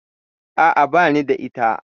A'a, bani da ita.